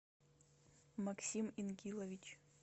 максим ингилович